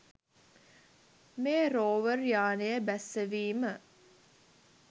මේ රෝවර් යානය බැස්සවීම